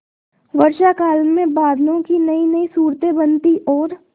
वर्षाकाल में बादलों की नयीनयी सूरतें बनती और